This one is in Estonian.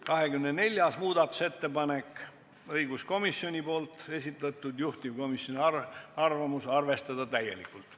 24. muudatusettepaneku on esitanud taas õiguskomisjon ja juhtivkomisjoni arvamus on arvestada seda täielikult.